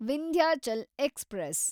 Vindhyachal express